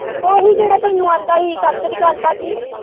ਓਹੀ ਜਿਹੜਾ ਤੈਨੂੰ ਕਹਿੰਦਾ ਸੀ ਸਤਿ ਸੀ੍ ਅਕਾਲ ਭਾਜੀ।